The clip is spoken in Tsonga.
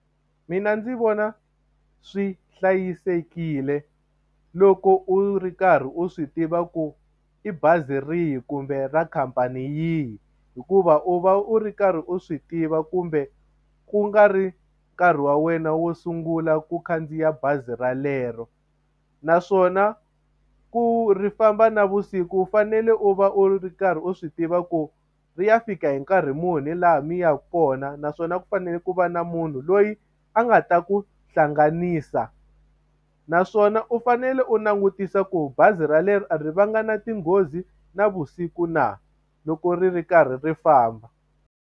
Mina ndzi vona swi hlayisekile loko u ri karhi u swi tiva ku i bazi rihi kumbe ra khampani yi hikuva u va u ri karhi u swi tiva kumbe ku nga ri nkarhi wa wena wo sungula ku khandziya bazi relero naswona ku ri famba navusiku u fanele u va u ri karhi u swi tiva ku ri ya fika hi nkarhi muni laha mi yaka kona kona naswona ku fanele ku va na munhu loyi a nga ta ku hlanganisa naswona u fanele u langutisa ku bazi ra leri a va nga na tinghozi navusiku na loko ri ri karhi ri famba.